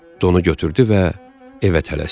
Donu götürdü və evə tələsdi.